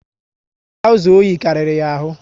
Trauza oyi karịrị ya ahụ